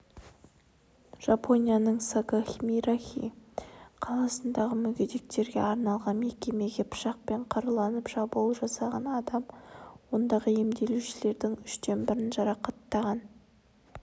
жапонияның сагамихара қаласындағы мүгедектерге арналған мекемеге пышақпен қаруланып шабуыл жасаған адам ондағы емделушілердің үштен бірін жарақаттаған